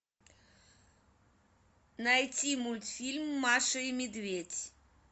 найти мультфильм маша и медведь